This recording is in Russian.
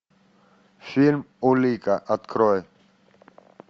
фильм улика открой